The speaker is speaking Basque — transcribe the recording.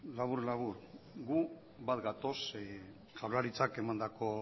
labur labur gu bat gatoz jaurlaritzak emandako